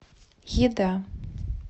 еда